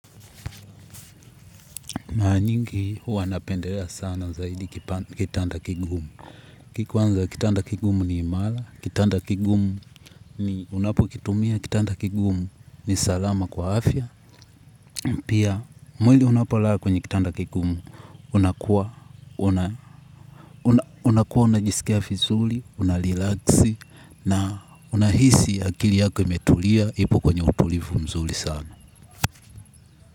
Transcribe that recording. Maranyingi huwa napendelea sana zaidi kitanda kigumu. Kwanza kitanda kigumu ni imara, kitanda kigumu ni unapokitumia, kitanda kigumu ni salama kwa afya. Pia mwili unapolala kwenye kitanda kigumu unakuwa unakuwa unajisikia vizuri, unarilaksi na unahisi akili yako imetulia ipo kwenye utulivu mzuri sana.